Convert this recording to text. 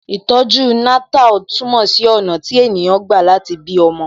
Ìtọ̀ju Natal túmọ̀ sí ọ̀nà tí ènìyàn gbà láti bí ọmọ